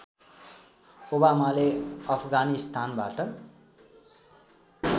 ओबामाले अफगानिस्तानबाट